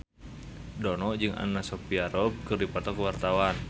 Dono jeung Anna Sophia Robb keur dipoto ku wartawan